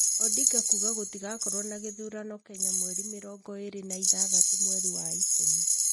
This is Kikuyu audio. Odinga kuga gũtigakorwo na gĩthurano Kenya mweri mĩrongo ĩrĩ na ithathatu mweri wa ikũmi